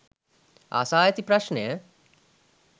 අසා ඇති ප්‍රශ්නය